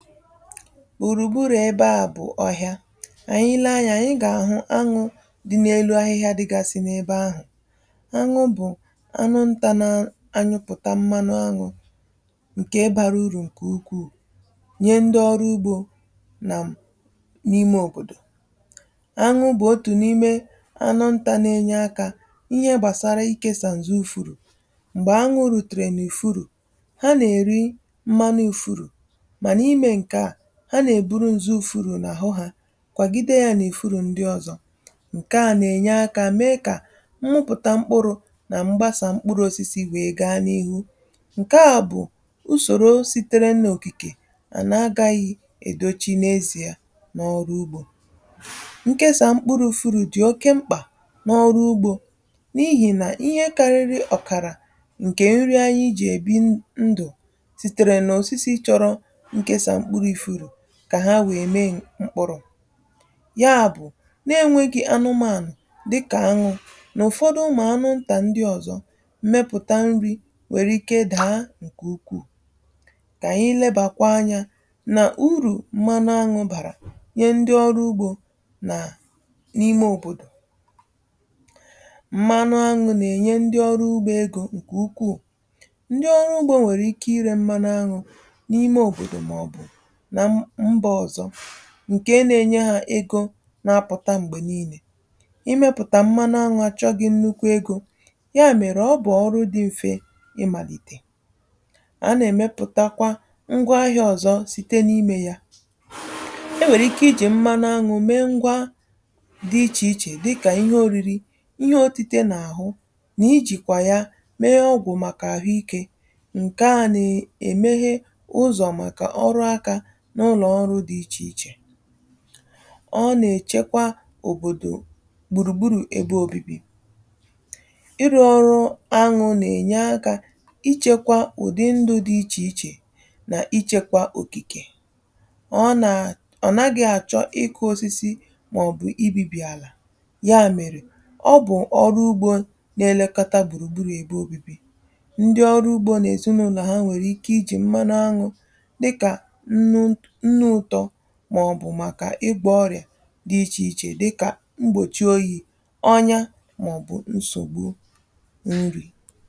Gbùrugburù ebe ȧ bụ̀ ọhịa. Anyị lee anyȧ, ànyị gà-àhụ aṅụ dị n’elu ahịhịa dịgasị n’ebe ahụ. Aṅụ bụ̀ anụ ntȧ na-anyụpụ̀ta mmanụ aṅụ ǹkè bara urù ǹkè ukwuu nyẹ ndị ọrụ ugbȯ nà m n’ime òbòdò. Anwụ bụ̀ otù n’ime anụ ntȧ na-enye akȧ ihe gbàsara ịkėsà ǹzụ ufuru. Mgbè aṅụ̇ rùtèrè n’ufuru, mana ime nke a, ha na-eburu nzụ ufuru n’àhụ ha kwàgide ya n'ufuru ndị ọzọ. Nke a nà-ènye akȧ mee kà mmụpụta mkpụrụ̇ nà m̀gbasà mkpụrụ osisi wee gaa n’ihu. Nke a bụ̀ usòro sìtere n’òkìkè nà n’agaghị̇ èdo chi n’ezìe n’ọrụ ugbȯ. Nkesa mkpụrụ̇ ufuru dị̀ oke mkpà n’ọrụ ugbȯ n’ihì nà ihe kàrịrị ọ̀kàrà ǹkè nri anyị jì èbi ndụ̀ sitere n'osisi chọrọ nkesa mkpụrụ ufuru kà ha wèe mee mkpụrụ. Ya bụ̀ na-enwėghi̇ anụmanụ̀ dịkà aṅụ n’ụ̀fọdụ ụmụ̀ anụ ntà ndị ọ̀zọ, mmepụ̀ta nri nwèrè ike dàa ǹkè ukwuù. Kà ànyị lebàkwa anyȧ nà urù mmanụ anwụ̀ bàrà nye ndị ọrụ ugbȯ nà n’ime òbòdò. Mmanụ aṅụ̀ nà-ènye ndị ọrụ ugbȯ egȯ ǹkè ukwuù. Ndị ọrụ ugbȯ nwèrè ike irė mmanụ anwụ̀ n’ime òbòdò màọbụ na mba ọzọ ǹkè ǹa-enye hȧ ego na-apụ̀ta m̀gbè niilė. Imėpụ̀tà mmanụ aṅụ̇ achọghị nnukwu egȯ, ya mèrè ọ bụ̀ ọrụ dị m̀fe ịmàlìtè. A nà-èmepụ̀takwa ngwa ahịa ọ̀zọ site n’imė yȧ. E nwèrè ike i jì mmanụ aṅụ̇ mee ngwa dị ichè ichè dịkà ihe òriri, ihe oti̇tė n’àhụ, nà i jìkwà ya mee ọgwụ̀ màkà àhụ ikė. Nkè a nà-èmeghe ụzọ̀ màkà ọrụ akȧ n’ụlọ̀ ọrụ dị ichèichè. ọ nà-èchekwa òbòdò gbùrùgburu̇ ebe obibi. ị rụọ ọrụ aṅụ nà-ènye akȧ ichekwa ụ̀dị ndụ̇ dị ichè ichè nà ichekwa òkìkè. Ọ nà ọ̀ naghị̇ àchọ ị kụ osisi màọ̀bụ̀ ibi̇bì àlà. Ya mèrè ọ bụ̀ ọrụ ugbȯ na-elekaọta gbùrùgburu̇ ebe obibi. Ndị ọrụ ugbȯ na ezinụlọ ha nwèrè ike i jì mmanụ aṅụ̇ dịka nnu ụtọ̇ màọ̀bụ̀ màkà igwọ ọrị̀à dị ichè ichè dịkà mgbòchi oyì, ọnya, màọ̀bụ̀ nsògbu nri̇.